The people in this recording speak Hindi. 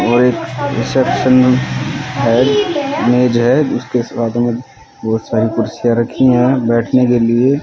और एक रिसेप्शन है मेज है जिसके साथ में बहोत सारी कुर्सियां रखी है बैठने के लिए--